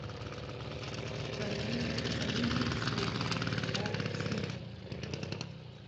комедии с уилл смитом